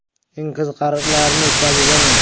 Eng qiziqarlilarini o‘tkazib yubormang!